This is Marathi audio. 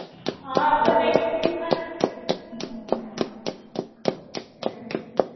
हा तर नेक्स्ट प्लॅन काय आहे? काय झालं?